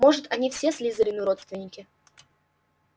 может они все слизерину родственники